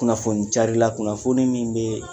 Kunnafoni carila, kunnafoni min bɛɛ